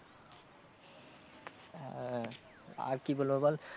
হ্যাঁ আর কি বলবো বল।